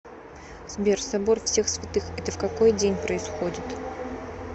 сбер собор всех святых это в какой день происходит